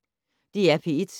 DR P1